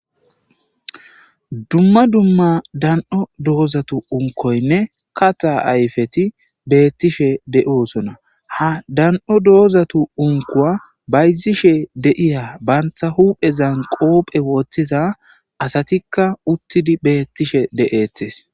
Dumma dumma dan'o doozatu unkoynne kata ayfeti bettishe de'oosona ha dan'o doozatu unkuwa bayzishe deiya bantha huphe zan qoophe woththiza asatikka uttidi beettishe de.ettes.